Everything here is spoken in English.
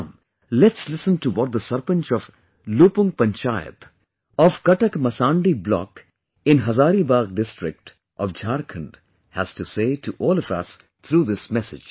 Come let's listen to what the Sarpanch of LupungPanchayat of Katakmasandi block in Hazaribagh district of Jharkhand has to say to all of us through this message